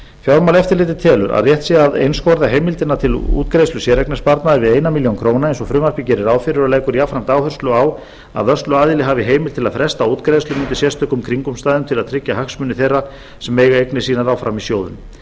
fjármálaeftirlitið telur að rétt sé að einskorða heimild til útgreiðslu séreignarsparnaðar við eina milljón króna eins og frumvarpið gerir ráð fyrir og leggur jafnframt áherslu á að vörsluaðili hafi heimild til að fresta útgreiðslum undir sérstökum kringumstæðum til að tryggja hagsmuni þeirra sem eiga eignir sínar áfram í sjóðunum